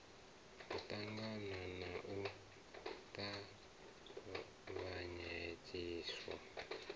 ho ṱangaṋwa na u tavhanyedziswa